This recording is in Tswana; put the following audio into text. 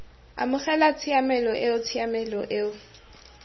amogela tshiamelo eo tshiamelo eo